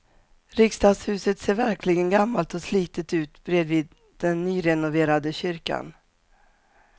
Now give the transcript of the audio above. Riksdagshuset ser verkligen gammalt och slitet ut bredvid den nyrenoverade kyrkan.